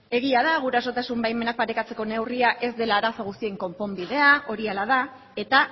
egia da gurasotasun baimenak parekatzeko neurria ez dela arazo guztien konponbidea hori hala da eta